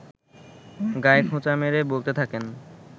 গায়ে খোঁচা মেরে বলতে থাকেন